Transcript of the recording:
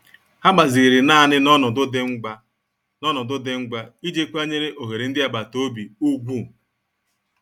Ha gbaziri naanị n'ọnọdụ dị ngwa n'ọnọdụ dị ngwa iji kwanyere ohere ndị agbata obi ùgwù.